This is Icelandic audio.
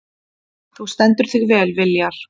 Þú stendur þig vel, Viljar!